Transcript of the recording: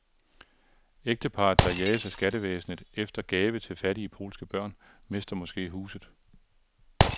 Ægteparret, der jages af skattevæsenet efter gave til fattige polske børn, mister måske huset.